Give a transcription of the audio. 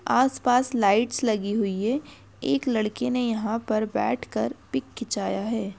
आस पास लाइटस लगी हुई है एक लड़की ने यहाँ पर बैठ कर पिक खिचाया है।